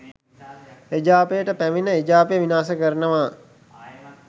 එජාපයට පැමිණ එජාපය විනාශ කරනවා